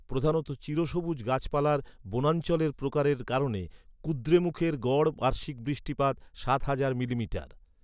প্রধানত চিরসবুজ গাছপালার বনাঞ্চলের প্রকারের কারণে কুদ্রেমুখের গড় বার্ষিক বৃষ্টিপাত সাত হাজার মিলিমিটার।